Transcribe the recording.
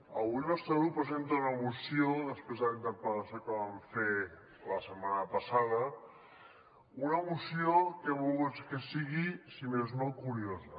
avui el nostre grup presenta una moció després de la interpel·lació que vam fer la setmana passada una moció que hem volgut que sigui si més no curiosa